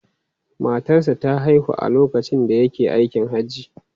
Matarsa ​​ta haihu a lokacin da yake aikin Hajji.